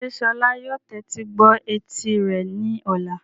Ṣé Sola yóò tẹ́tí gbọ́ etí rẹ̀ ní ọ̀la?